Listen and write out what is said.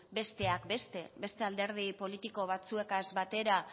besteak beste beste alderdi politiko batzuekaz batera